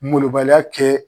Molobaliya kɛ.